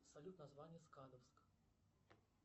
салют название скадовск